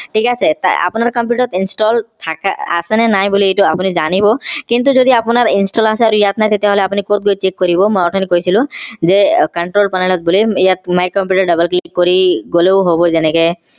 থিক আছে আপোনাৰ computer ত install থাকা আছে নে নাই বুলি এটো আপোনি জানিব কিন্তু যদি আপোনাৰ install আছে আৰু ইয়াত নাই তেতিয়া হলে আপুনি কত গৈ check কৰিব মই অঠনি কৈছিলো যে উহ control panel ত গলে ইয়াত my computer ত double click কৰি গলেও হব যেনেকে